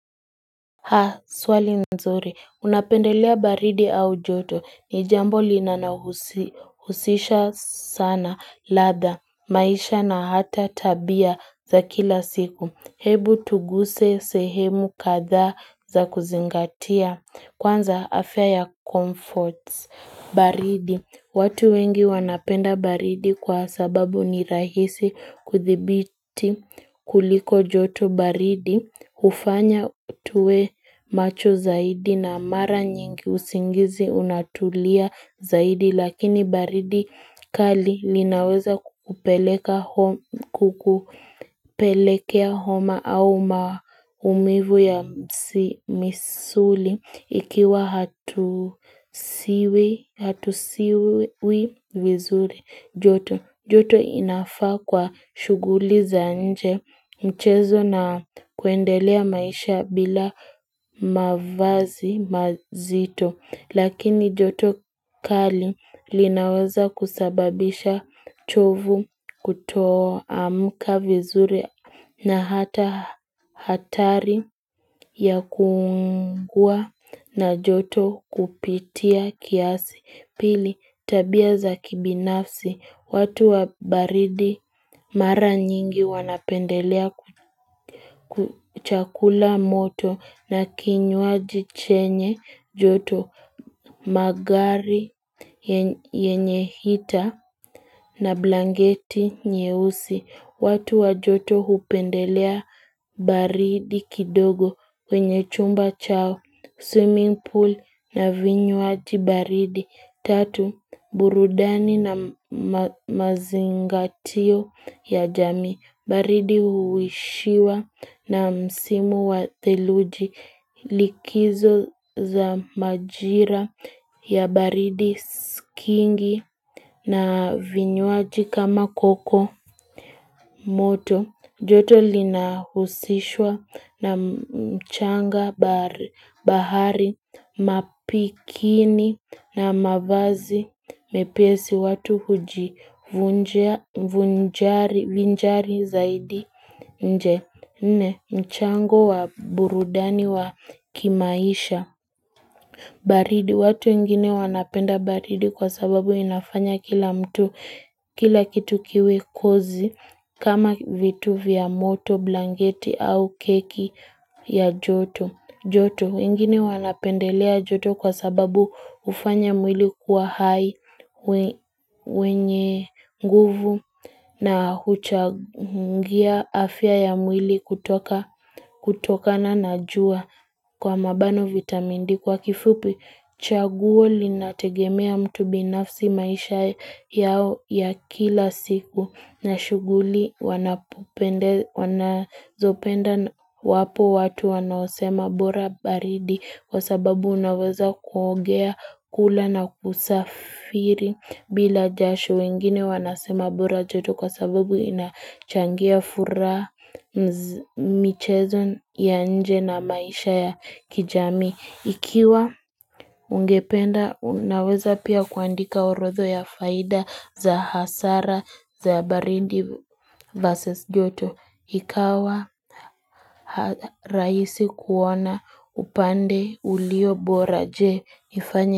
Ha swali nzuri unapendelea baridi au joto ni jambo linalohusisha sana ladha maisha na hata tabia za kila siku hebu tuguse sehemu kadhaa za kuzingatia kwanza afya ya comforts baridi watu wengi wanapenda baridi kwa sababu ni rahisi kuthibiti kuliko joto baridi hufanya tuwe macho zaidi na mara nyingi usingizi unatulia zaidi lakini baridi kali linaweza kukupelekea homa au maumivu ya misuli Ikiwa hatusiwi vizuri joto. Joto inafaa kwa shughuli za nje mchezo na kuendelea maisha bila mavazi mazito. Lakini joto kali linaweza kusababisha chovu kutoamka vizuri na hata hatari ya kuungua na joto kupitia kiasi. Pili tabia za kibinafsi watu wa baridi mara nyingi wanapendelea chakula moto na kinywaji chenye joto magari yenye heater na blanketi nyeusi watu wa joto hupendelea baridi kidogo kwenye chumba chao swimming pool na vinywaji baridi Tatu, burudani na mazingatio ya jamii, baridi huishiwa na msimu wa theluji likizo za majira ya baridi kingi na vinywaji kama cocoa moto. Joto linahusishwa na mchanga, bahari, mapikini na mavazi mepesi watu hujivinjari zaidi nje. Nne mchango wa burudani wa kimaisha baridi, watu wengine wanapenda baridi kwa sababu inafanya kila mtu, kila kitu kiwe cozy kama vitu vya moto, blanketi au keki ya joto joto, wengine wanapendelea joto kwa sababu ufanya mwili kuwa hai wenye nguvu na huchangia afya ya mwili kutokana na jua kwa mabano vitamin d kwa kifupi chaguo linategemea mtu binafsi maisha yao ya kila siku na shughuli wanazopenda wapo watu wanaosema bora baridi Kwa sababu unaweza kuogea kula na kusafiri bila jasho wengine wanasema bora joto kwa sababu inachangia furaha michezo ya nje na maisha ya kijamii. Ikiwa ungependa unaweza pia kuandika orotha ya faida za hasara za baridi versus joto ikawa rahisi kuona upande uliobora je nifanye.